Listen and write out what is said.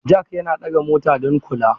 Jak yana ɗaga motar don kula.